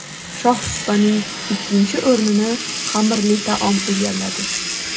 Shohsupaning ikkinchi o‘rnini xamirli taom egalladi.